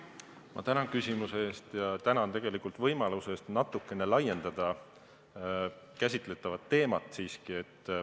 Ma tänan küsimuse eest ja tänan ka võimaluse eest käsitletavat teemat natuke laiendada.